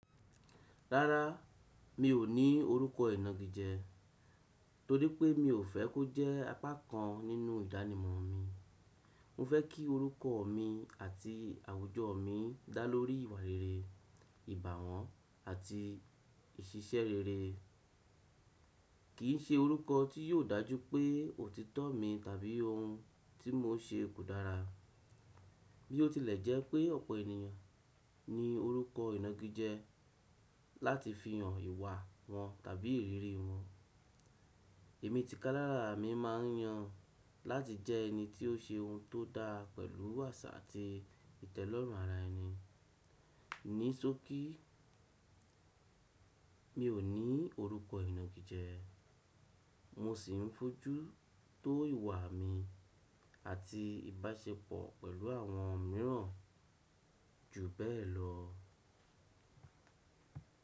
Rárá, mi ò ní orúkọ ìnagijẹ, torí pé mi ò fẹ́ kó jẹ́ apá kàn nínú ìdánimọ̀ mi. Mo fẹ́ kí orúkọ mi àti àwùjọ mi dá lórí ìwà rere, ìbàwọ́n àti ìṣiṣẹ́ rere, kìí ṣe orúkọ tí yóò dájú pé òtítọ́ mi tàbí ohun tí mo n ṣe kò dára. Bí ó tilẹ̀ jẹ́ pé ọ̀pọ̀ ènìyàn ní orúkọ ìnagijẹ láti fihan ìwà wọn tàbí ìrírí wọn, èmi tikalára mi máa n yan láti jẹ ẹni tí ó ṣe ohun tó da pẹ̀lú àṣà àti ìtẹ́lọ́rùn ara ẹni. Ní ṣókí, mi ò ní orúkọ ìnagijẹ mo sì n fojú tó ìwà mi àti ìbáṣepọ̀ pẹ̀lú àwọn mìíràn ju bẹ́ẹ̀ lọ.